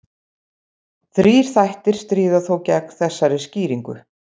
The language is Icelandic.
Þrír þættir stríða þó gegn þessari skýringu.